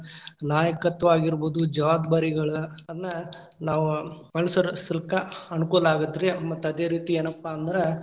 ನಾಯಕತ್ವ ಆಗಿರಬೋದು, ಜವಾಬ್ದಾರಿಗಳ್‌ ಅನ್ನ ನಾವ್‌ ಅನುಸರಿಸಲಿಕ್ಕ ಅನುಕೂಲ ಆಗತ್ರಿ ಮತ್ ಅದೇ ರೀತಿ ಏನಪ್ಪಾ ಅಂದ್ರ.